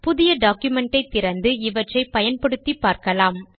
புதிய டாக்குமென்ட் ஐ திறந்து இவற்றை பயன்படுத்தி பார்க்கலாம்